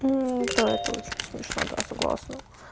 ну это очень смешно да согласна